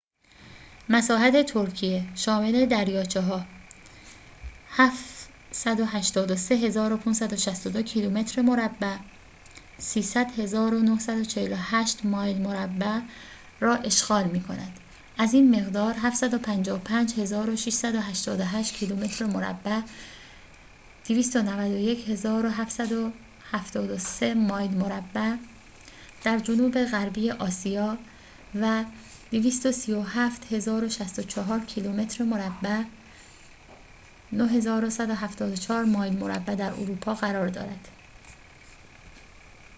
مساحت ترکیه، شامل دریاچه ها، 783562 کیلومتر مربع 300948 مایل مربع را اشغال می کند، از این مقدار، 755688 کیلومتر مربع 291773 مایل مربع در جنوب غربی آسیا و 23764 کیلومتر مربع 9174 مایل مربع در اروپا قرار دارد